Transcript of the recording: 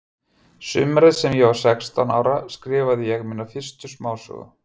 Sumarið sem ég var sextán ára skrifaði ég mína fyrstu smásögu.